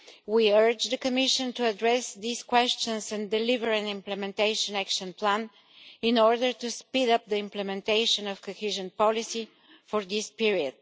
We urge the Commission to address these questions and deliver an implementation action plan in order to speed up the implementation of cohesion policy for this period.